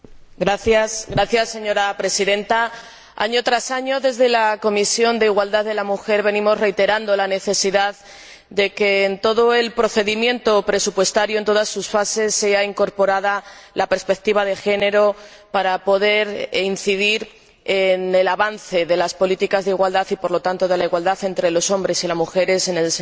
Señora Presidenta, año tras año, desde la Comisión de Derechos de la Mujer e Igualdad de Género, venimos reiterando la necesidad de que, en todo el procedimiento presupuestario, en todas sus fases, sea incorporada la perspectiva de género para poder incidir en el avance de las políticas de igualdad y, por lo tanto, de la igualdad entre los hombres y las mujeres en el seno de la Unión Europea.